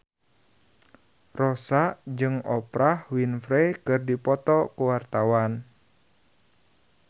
Rossa jeung Oprah Winfrey keur dipoto ku wartawan